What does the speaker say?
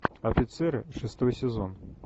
офицеры шестой сезон